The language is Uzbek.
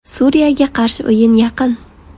Suriyaga qarshi o‘yin yaqin.